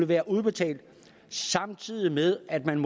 være udbetalt samtidig med at man